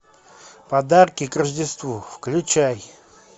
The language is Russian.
подарки к рождеству включай